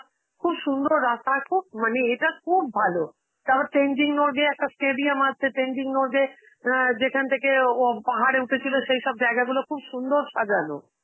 খুব সুন্দর রাস্তা, আর খুব~, মানে এটা খুব ভালো. তারপর তেনজিং নরগে একটা stadium, তেনজিং নরগে অ্যাঁ যেখান থেকে ও আ পাহাড়ে উঠেছিল, সেইসব জায়গাগুলো খুব সুন্দর সাজানো.